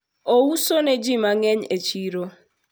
ouso ne ji mangeny e chiro